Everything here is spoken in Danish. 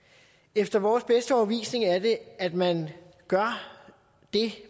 efter vores bedste overbevisning er det at man gør det